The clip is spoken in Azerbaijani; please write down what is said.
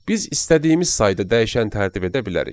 Biz istədiyimiz sayda dəyişən tərtib edə bilərik.